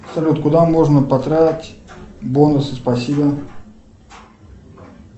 салют куда можно потратить бонусы спасибо